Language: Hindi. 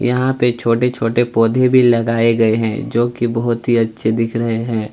यहाँ पे छोटे छोटे पोधे भी लगाये गए हैं जो कि बहोत ही अच्छे दिख रहे हैं। .